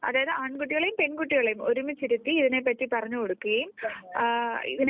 അതായിതു ആൺകുട്ടികളെയും പെൺകുട്ടികളെയും ഒരുമിച്ചിരുത്തി ഇതിനെപ്പറ്റി പറഞ്ഞുകൊടുക്കുകയും ആ ഇതിനെ